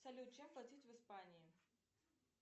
салют чем платить в испании